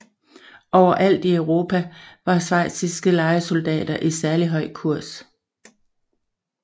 Overalt i Europa var schweiziske lejesoldater i særligt høj kurs